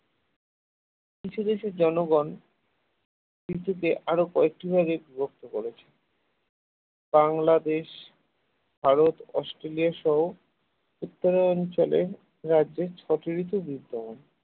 কিছু দেশের জনগণ ঋতুকে আরো কয়েকটি ভাগে বিভক্ত করেছে বাংলাদেশ ভারত অস্ট্রেলিয়া সহ উত্তরাঞ্চলে রাজ্যে ছয়টি ঋতু বিদ্যমান